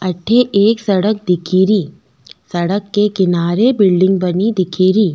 अठ एक सड़क दिखेरी सड़क के किनारे बिल्डिंग बनी दिखेरी।